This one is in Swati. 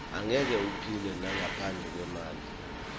angeke uphile nangaphandle kwemali